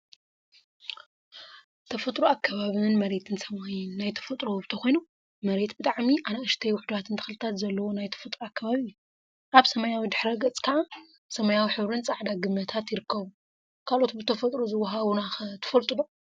ተፈጥሮን አከባብን መሬትን ሰማይን ናይ ተፈጥሮ ውህብቶ ኮይኖም፤ መሬት ብጣዕሚ አናእሽተይን ዉሕዳትን ተክሊታት ዘለዎ ናይ ተፈጥሮ አከባቢ እዩ፡፡ አብ ሰማያዊ ድሕረ ገፅ ከዓ ሰማያዊ ሕብሪን ፃዕዳ ግመታት ይርከቡ፡፡ ካልኦት ብተፈጥሮ ዝወሃቡና ኸ ትፈልጡ ዶ?